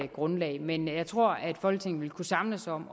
grundlag men jeg tror at folketinget vil kunne samles om